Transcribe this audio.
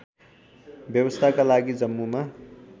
व्यवस्थाका लागि जम्मूमा